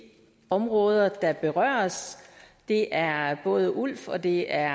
områder der berøres det er både ulf og det er